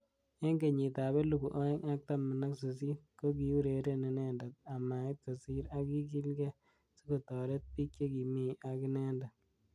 Eng kenyit ab elibu aeng ak taman ak sisit kokiureren inendet amait kosir ak kikilgei sikotoret bik. chekimi ak inendet.